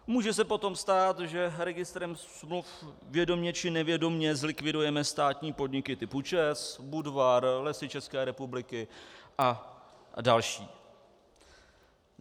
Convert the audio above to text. Může se potom stát, že registrem smluv vědomě či nevědomě zlikvidujeme státní podniky typu ČEZ, Budvar, Lesy České republiky a další.